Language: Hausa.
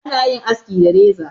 ana yin aski da reza